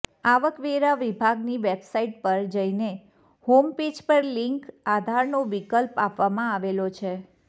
આવક વેરા વિભાગની વેબસાઈટ પર જઈને હોમપેજ પર લિન્ક આધારનો વિકલ્પ આપવામાં આવેલો છે